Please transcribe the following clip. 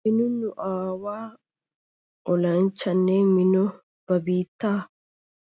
Beni nu aawa olanchchanne Mino ba biitta